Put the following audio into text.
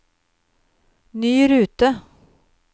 ny rute